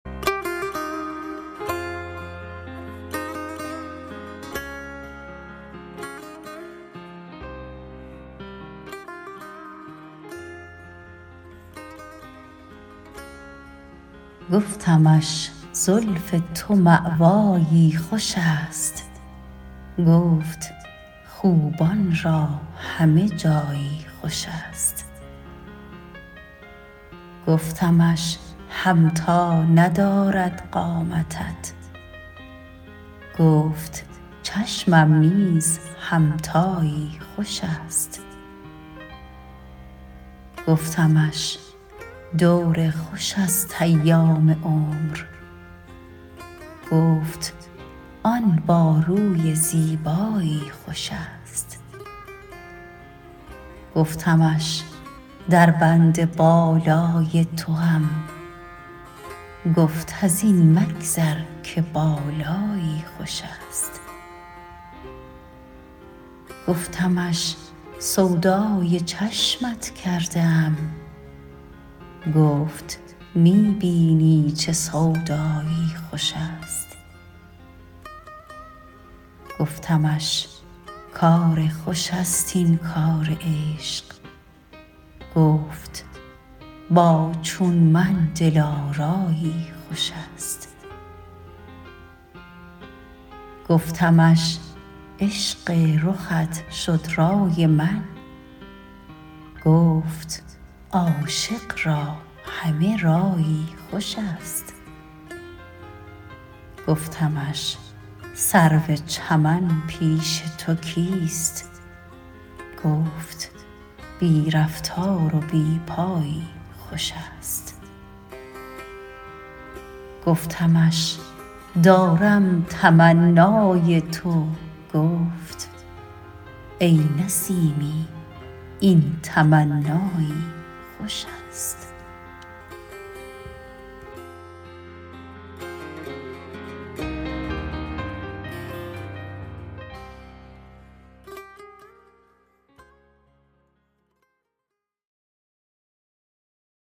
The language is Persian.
گفتمش زلف تو مأوایی خوش است گفت خوبان را همه جایی خوش است گفتمش همتا ندارد قامتت گفت چشمم نیز همتایی خوش است گفتمش دور خوش است ایام عمر گفت آن با روی زیبایی خوش است گفتمش در بند بالای توام گفت از این مگذر که بالایی خوش است گفتمش سودای چشمت کرده ام گفت می بینی چه سودایی خوش است گفتمش کار خوش است این کار عشق گفت با چون من دلارایی خوش است گفتمش عشق رخت شد رای من گفت عاشق را همه رایی خوش است گفتمش سرو چمن پیش تو کیست گفت بی رفتار و بی پایی خوش است گفتمش دارم تمنای تو گفت ای نسیمی این تمنایی خوش است